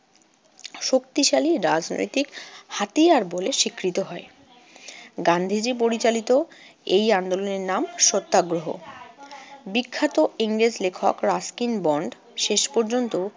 শক্তিশালী রাজনৈতিক হাতিয়ার বলে স্বীকৃত হয়। গান্ধীজি পরিচালিত এই আন্দোলনের নাম সত্যাগ্রহ। বিখ্যাত ইংরেজ লেখক রাস্কিন বন্ড শেষ পর্যন্ত